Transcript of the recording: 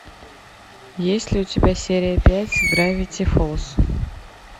есть ли у тебя серия пять гравити фолс